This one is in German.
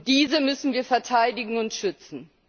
Diese müssen wir verteidigen und schützen.